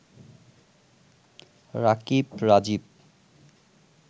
Rakib, Rajib